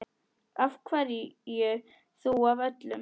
Af hverju þú af öllum?